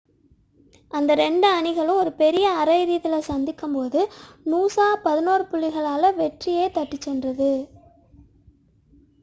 அந்த இரண்டு two அணிகளும் ஒரு பெரிய அரை இறுதியில் சந்தித்த போது நூசா 11 புள்ளிகளால் வெற்றியைத் தட்டிச் சென்றது